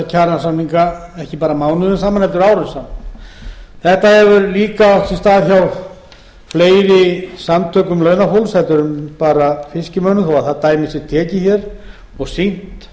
kjarasamninga ekki bara mánuðum saman heldur árum saman þetta hefur líka átt sér stað hjá fleiri samtökum launafólks en bara fiskimönnum þó að það dæmi sé tekið hér og sýnt